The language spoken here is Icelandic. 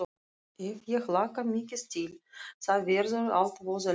Ef ég hlakka mikið til þá verður allt voða leiðinlegt.